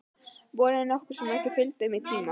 Vonin nokkuð sem ekki fylgdi þeim tíma.